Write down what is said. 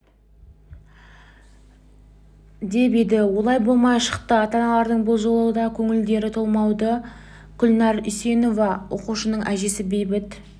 деп еді олай болмай шықты ата-аналардың бұл жолы да көңілдері толмауда гүлнәр үсейінова оқушының әжесі бейбіт